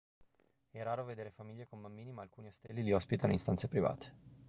è raro vedere famiglie con bambini ma alcuni ostelli li ospitano in stanze private